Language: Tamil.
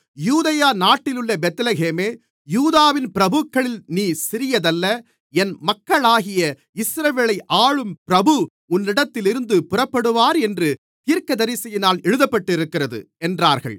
யூதேயா நாட்டிலுள்ள பெத்லகேமே யூதாவின் பிரபுக்களில் நீ சிறியதல்ல என் மக்களாகிய இஸ்ரவேலை ஆளும் பிரபு உன்னிடத்திலிருந்து புறப்படுவார் என்று தீர்க்கதரிசியினால் எழுதப்பட்டிருக்கிறது என்றார்கள்